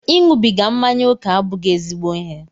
Ịṅụbiga mmanya ókè abụghị ezigbo ịhe.